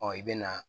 i bɛ na